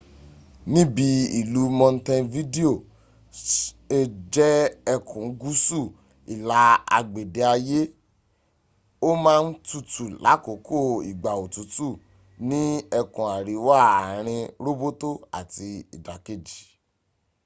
níbi ìlú montevideo se jẹ́ ẹkùn gúúsù ìlà agbede ayé ó má ń tutù láàkókò ìgbà òtútù ní ẹkùn àríwá àarin róbótó àti ìdàkejì